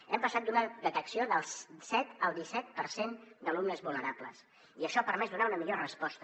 hem passat d’una detecció del set al disset per cent d’alumnes vulnerables i això ha permès donar una millor resposta